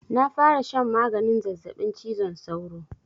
Na fara shan maganin zazzabin cizon sauro.